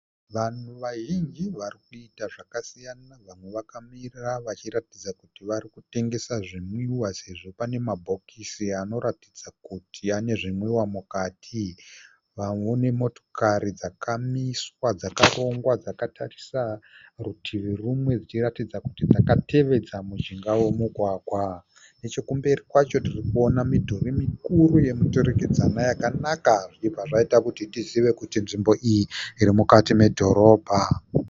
Vanhu vazhinji vari kuita zvakasiyana. Vamwe vakamira vachiratidza kuti vari kutengesa zvinwiwa sezvo pane mabhokisi anoratidza kuti ane zvinwiwa mukati. Vamwe une motokari dzakamiswa dzakarongwa dzakatarisa rutivi rumwe dzichiratidza kuti dzakatevedza mujinga womugwagwa. Nechekumberi kwacho tiri kuona midhuri mikuru yomuturikidzwana yakanaka zvichibva zvaita kuti tizive kuti nzvimbo iyi iri mukati medhorobha.